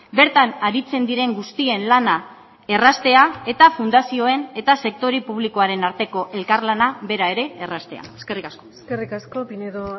bertan aritzen diren guztien lana erraztea eta fundazioen eta sektore publikoaren arteko elkarlana bera ere erraztea eskerrik asko eskerrik asko pinedo